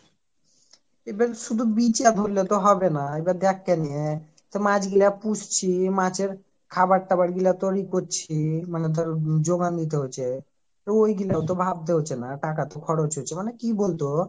এবার শুধু বিচার করলে তো হবে না এবার দেখ কেনে তা মাছ গুলো পুষছি মাছের খাবার টাবার গুলা তোর এ করছি মানে ধর জোগান দিতে হচ্চে ওই গিলো তো ভাবতে হচ্চে না টাকা খরচ হচ্চে মানে কি বলতো